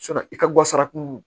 i ka guwasara kun